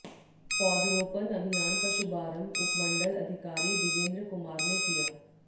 पौधरोपण अभियान का शुभारंभ उपमण्डल अधिकारी बिजेन्दर कुमार ने किया